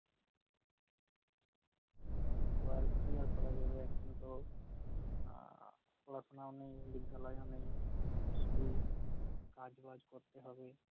ও আর কি আর করা যাবে এখন তো আহ রচনা নেই, বিদ্যালয় ও নেই, তো সেদিন কাজ-বাজ করতে হবে